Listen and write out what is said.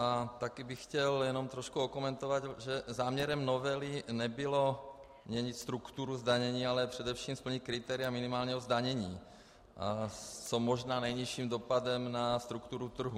A taky bych chtěl jenom trošku okomentovat, že záměrem novely nebylo měnit strukturu zdanění, ale především splnit kritéria minimálního zdanění s co možná nejnižším dopadem na strukturu trhu.